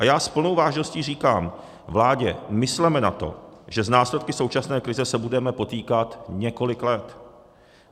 A já s plnou vážností říkám vládě, mysleme na to, že s následky současné krize se budeme potýkat několik let.